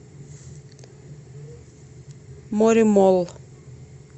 моремолл